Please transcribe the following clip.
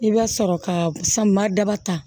I bɛ sɔrɔ ka samiya daba ta